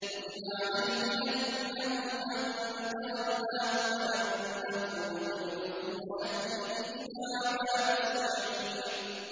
كُتِبَ عَلَيْهِ أَنَّهُ مَن تَوَلَّاهُ فَأَنَّهُ يُضِلُّهُ وَيَهْدِيهِ إِلَىٰ عَذَابِ السَّعِيرِ